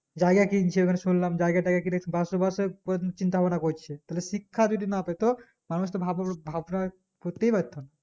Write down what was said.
জায়গা কিনছে শুনলাম জায়গা তাইগা কিনছে বাশবাসের তোর চিন্তা ভাবনা করছে তাহলে শিক্ষা যদি না পেত তাহলে সে ভাবভাবনার করতেই পারতো না